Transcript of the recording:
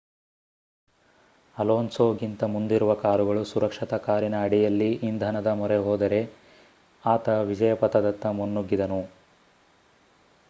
ಅಲೋನ್ಸೊಗಿಂತ ಮುಂದಿರುವ ಕಾರುಗಳು ಸುರಕ್ಷತಾ ಕಾರಿನ ಅಡಿಯಲ್ಲಿ ಇಂಧನದ ಮೊರೆಹೋದರೆ ಆತ ವಿಜಯ ಪಥದತ್ತ ಮುನ್ನುಗಿದನು